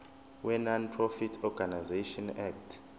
wenonprofit organisations act